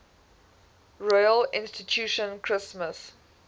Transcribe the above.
royal institution christmas